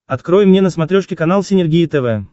открой мне на смотрешке канал синергия тв